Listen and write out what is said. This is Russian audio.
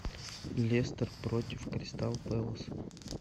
лестер против кристал пэлас